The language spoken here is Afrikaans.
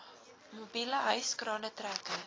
mobiele hyskrane trekkers